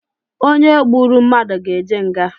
Onye gburu mmadụ ga eje nga